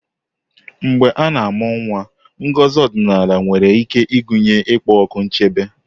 Mgbe a na-amụ nwa, ngozi ọdịnala nwere ike ịgụnye ịkpọku nchebe.